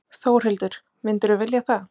Þórhildur: Myndirðu vilja það?